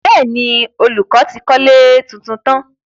Bẹ́ẹ̀ni, olùkọ́ ti kọ́lé tuntun tán.